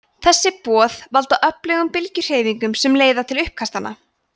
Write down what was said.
þessi boð valda öfugum bylgjuhreyfingunum sem leiða til uppkastanna